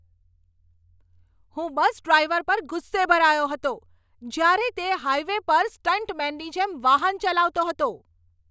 હું bus driver પર ગુસ્સે ભરાયો હતો જ્યારે તે હાઈવે પર સ્ટંટમેનની જેમ વાહન ચલાવતો હતો.